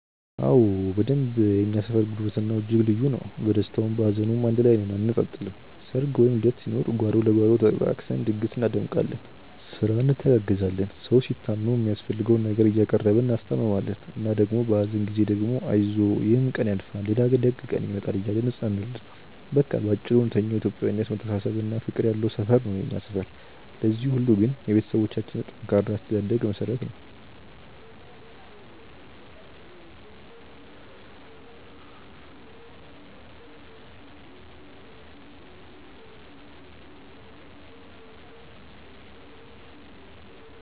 አዎ በደንብ የእኛ ሰፈር ጉርብትናው እጅግ ልዩ ነው። በደስታውም በሀዘኑም አንድ ላይ ነን አንነጣጠልም። ሰርግ ወይም ልደት ሲኖር ጓሮ ለጓሮ ተጠቃቅሰን ድግስ እናደምቃለን፤ ስራ እንተጋገዛለን። ሰው ሲታመም የሚያስፈልገውን ነገር እያቀረብን እናስታምማለን እና ደግሞ በሀዘን ጊዜ ደግሞ አይዞህ ይሕም ቀን ያልፋል ሌላ ደግ ቀን ይመጣል እያልን እናጽናናለን። በቃ በአጭሩ እውነተኛው የኢትዮጵያዊነት መተሳሰብና ፍቅር ያለው ሰፈር ነው የኛ ሰፈር። ለዚህ ሁሉ ግን የቤተሰቦቻችን ጠንካራ የአስተዳደግ መሠረት ነው።